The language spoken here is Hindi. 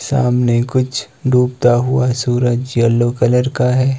सामने कुछ डूबता हुआ सूरज येलो कलर का है।